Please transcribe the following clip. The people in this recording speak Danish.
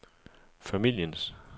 familiens